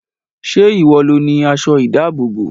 Ṣé ìwọ lo ni aṣọ ìdábòbò?